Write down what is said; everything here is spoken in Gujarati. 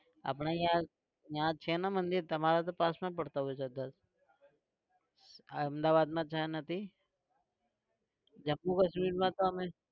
આપણે ત્યાં ત્યાં છે ને મંદિર તમારે તો પાસમાં પડતા હોય છે હા અમદાવાદમાં છે નથી જમ્મુ-કશ્મીરમાં તો અમે